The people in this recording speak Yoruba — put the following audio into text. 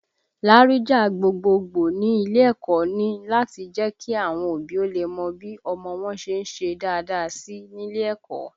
Láríjà gbogboogbò ní ilé ẹ̀kọ́ ni láti le jẹ́ kí àwọn òbí ó lè mọ bí ọmọ wọn ṣe ń ṣe dáadáa sí nílé ẹ̀kọ́